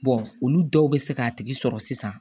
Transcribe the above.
olu dɔw bɛ se k'a tigi sɔrɔ sisan